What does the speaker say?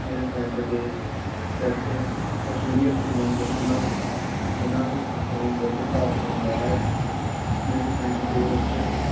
ਮੇਰੇ ਪਿੰਡ ਦੇ ਵਿੱਚ ਪਸ਼ੂ ਵੀ ਰਾਖੇ ਜਾਂਦੇ ਹਨ। ਜਿੰਨਾ ਤੋਂ ਆਪਾ ਨੂੰ ਦੁੱਧ ਪ੍ਰਾਪਤ ਹੁੰਦਾ ਹੈ। ਮੇਰੇ ਪਿੰਡ ਦੇ ਵਿੱਚ